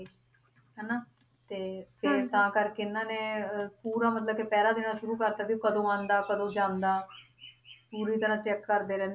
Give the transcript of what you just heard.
ਪੂਰਾ ਮਤਲਬ ਕਿ ਪਹਿਰਾ ਦੇਣਾ ਸ਼ੁਰੂ ਕਰਤਾ ਸੀ ਵੀ ਉਹ ਕਦੋਂ ਆਉਂਦਾ ਕਦੋਂ ਜਾਂਦਾ ਪੂਰੀ ਤਰ੍ਹਾਂ ਚੈਕ ਕਰਦੇ ਰਹਿੰਦੇ